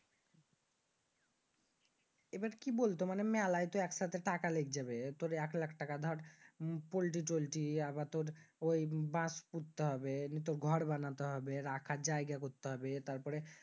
এবার কি বলত? মানি মেলাই তো এক সাথে টাকা লেগে যাবে। তুর এক লাক্ষ টাকা দর পল্টি টল্টি আবার দর ঐ বাস পুরতে হবে, ঘর বানাতে হবে, রাখার জায়গা করতে হবে। তারপরে